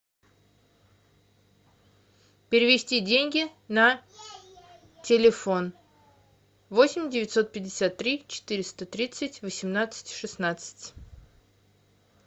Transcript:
перевести деньги на телефон восемь девятьсот пятьдесят три четыреста тридцать восемнадцать шестнадцать